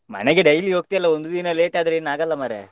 ಮನೆಗೆ daily ಹೋಗ್ತಿಯಲ್ಲ, ಒಂದು ದಿನ late ಆದ್ರೆ ಏನಾಗಲ್ಲ ಮರ್ರೆ.